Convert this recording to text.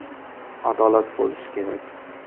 Adolat bo‘lishi kerak!